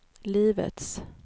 livets